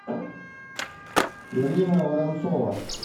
ирина воронцова